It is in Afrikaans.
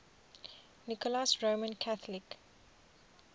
nicholas roman catholic